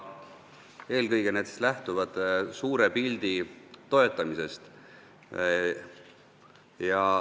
Eelkõige lähtuvad need suure pildi toetamisest.